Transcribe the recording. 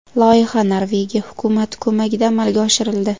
Loyiha Norvegiya hukumati ko‘magida amalga oshirildi.